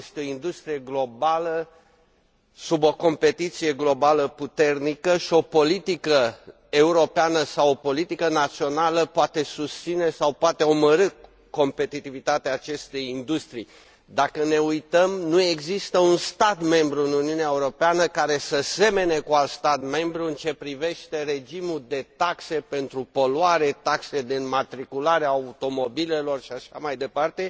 Este o industrie globală, sub o competiție globală puternică și o politică europeană sau o politică națională poate susține sau poate omorî competitivitatea acestei industrii. Dacă ne uităm, nu există un stat membru în Uniunea Europeană care să semene cu alt stat membru în ceea ce privește regimul de taxe pentru poluare, taxe de înmatriculare a automobilelor și așa mai departe,